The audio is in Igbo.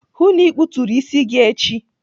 Hụụ na ikputuru isi gị echi!